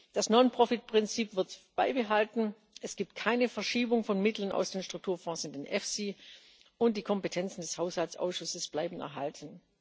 Das Non Profit Prinzip wird beibehalten. Es gibt keine Verschiebung von Mitteln aus den Strukturfonds in den EFSI, und die Kompetenzen des Haushaltsausschusses bleiben erhalten.